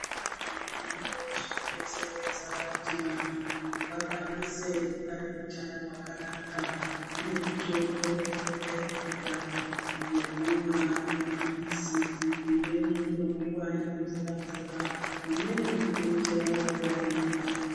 Zviriyo zvinodetsera kuti vantu vakwanise kuva neutano hwakanaka kune mitombo inouya iri mumbando yekumwa ari mapilizi imweni inomwiwa iri mvura mvura imweniinoite zvekubayiwa .